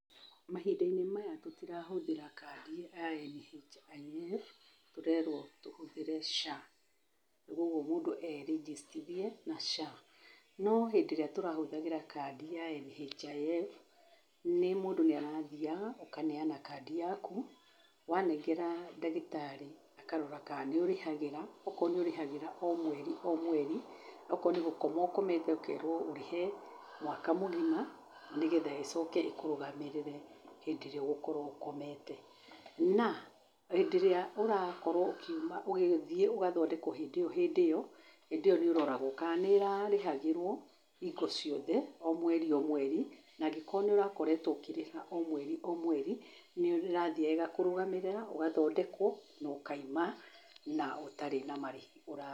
Mahĩnda-inĩ maya tũtirahũthĩra kandi ya NHIF tũrerwo tũhũthĩre SHA. Koguo mũndũ e rĩgĩstithie na SHA. No hĩndĩ ĩrĩa tũrahũthagĩra kadi ya NHIF, mũndũ nĩ arathiyaga ũkaneyana kandi yaku, wanengera ndagĩtarĩ akarora ka nĩũrĩhagĩra ũkorwo nĩũrĩhagĩra o mweri akorwo nĩ gũkoma ũkomete ũkerwo ũrĩhe mwaka mũgĩma nĩgetha ĩcoke ĩkũrũgamĩrĩre hĩndĩ ĩrĩa ũgũkorwo ũkomete na hĩndĩ ĩrĩa ũrakorwo ũgĩthiĩ ũgathondekwo hĩndĩ ĩyo, hĩndĩ ĩyo nĩĩroragwo ka nĩrarĩhagĩrwo hingo ciothe o mweri o mweri na angĩkorwo nĩũrakoretwo ũkĩrĩha o mweri o mweri nĩũrathiyaga ĩgakũrũgamĩrĩra ũgathondekwo na ũkauma na ũtarĩ na marĩhi ũrarĩha.